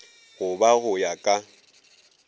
go ba go ya ka